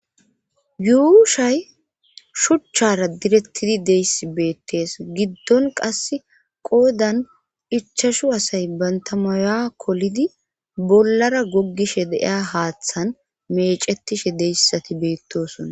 yuushay shuchchara direttidi deyssi beettees giddon qas qoodan ichashu asay banta maya kolidi bollara gogishe de'iya haaththan mecetishe deyssati beettosona